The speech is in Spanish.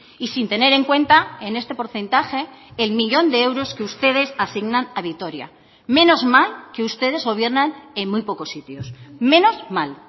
y sin tener en cuenta en este porcentaje el millón de euros que ustedes asignan a vitoria menos mal que ustedes gobiernan en muy pocos sitios menos mal